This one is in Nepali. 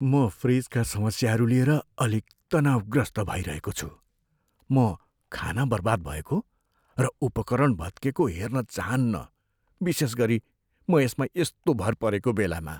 म फ्रिजका समस्याहरू लिएर अलिक तनाउग्रस्त भइरहेको छु, म खाना बर्बाद भएको र उपकरण भत्केको हेर्न चाहान्न , विशेष गरी म यसमा यस्तो भर परेको बेलामा।